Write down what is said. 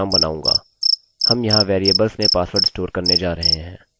हम यहाँ वेरिएबल में पासवर्ड स्टोर करने जा रहे हैं